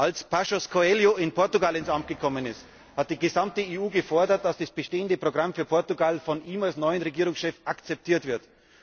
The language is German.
Als Passos Coelho in Portugal ins Amt gekommen ist, hat die gesamte EU gefordert, dass das bestehende Programm für Portugal von ihm als neuem Regierungschef akzeptiert wird.